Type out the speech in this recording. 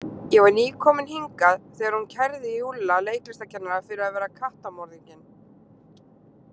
Ég var nýkominn hingað þegar hún kærði Júlla leiklistarkennara fyrir að vera kattamorðinginn.